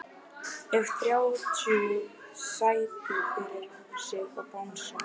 Hefur þrjú sæti fyrir sig og bangsa.